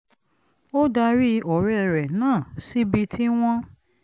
ó darí ọ̀rẹ́ rẹ̀ náà síbi tí wọ́n